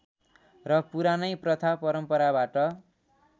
र पुरानै प्रथा परम्पराबाट